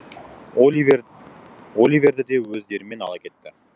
оливер оливерді де өздерімен ала кетті